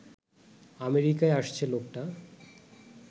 আমেরিকায় আসছে লোকটা